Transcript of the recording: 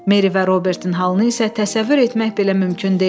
Meri və Robertin halını isə təsəvvür etmək belə mümkün deyildi.